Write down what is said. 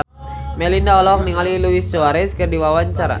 Melinda olohok ningali Luis Suarez keur diwawancara